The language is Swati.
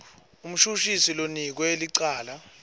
umshushisi lonikwe licala